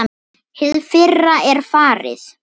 Hið fyrra er farið.